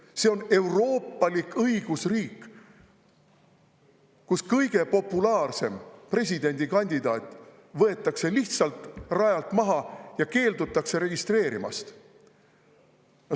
Kas see on euroopalik õigusriik, kus kõige populaarsem presidendikandidaat võetakse lihtsalt rajalt maha ja keeldutakse registreerimast?